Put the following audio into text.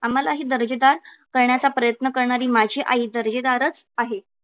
आम्हाला ही दर्जेदार करण्याचा प्रयत्न करणारी माझी आई दर्जेदारच आहे.